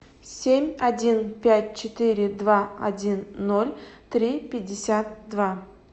семь один пять четыре два один ноль три пятьдесят два